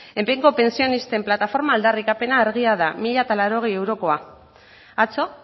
pentsionisten plataforma aldarrikapena argia da mila laurogei eurokoa atzo